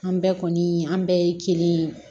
An bɛɛ kɔni an bɛɛ ye kelen ye